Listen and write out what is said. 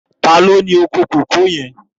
Tàló ni ókó kókòó yèn?